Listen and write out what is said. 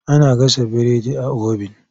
Ana gasa burodi a obin.